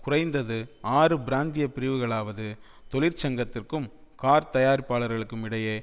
குறைந்தது ஆறு பிராந்திய பிரிவுகளாவது தொழிற்சங்கத்திற்கும் கார்த்தயாரிப்பாளருக்கும் இடையே